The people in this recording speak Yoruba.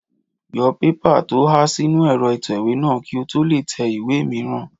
Yọ pépà tó há sínu ẹ̀rọ ìtẹ̀wé náà kí o tó lè tẹ ìwé è mìíràn